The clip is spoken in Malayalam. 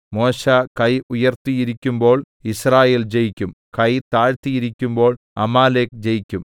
മോശെ കൈ ഉയർത്തിയിരിക്കുമ്പോൾ യിസ്രായേൽ ജയിക്കും കൈ താഴ്ത്തിയിരിക്കുമ്പോൾ അമാലേക്ക് ജയിക്കും